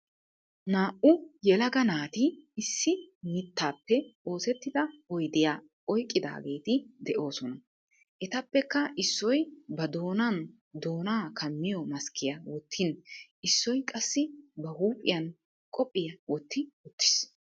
Naa"u yelaga naati issi mittaappe oosettida oydiyaa oyqqidaageeti de'oosona. Etappeka issoy ba doonan doonaa kammiyo maskkiya wottin issoy qassi ba huuphiyan qophiyaa wotti uttiis.